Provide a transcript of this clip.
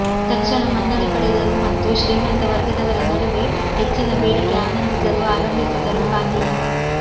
ತಕ್ಷಣ ಮನ್ನಣೆ ಪಡೆದರು ಮತ್ತು ಶ್ರೀಮಂತ ವರ್ಗದವರ ನಡುವೆ ಹೆಚ್ಚಿನ ಬೇಡಿಕೆ ಆನಂದಿಸಲು ಆರಂಭಿಸಿದರು ಪಾನೀಯ